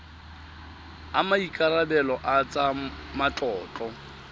a maikarebelo a tsa matlotlo